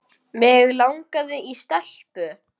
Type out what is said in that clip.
Mig langaði í stelpu.